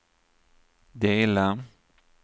dela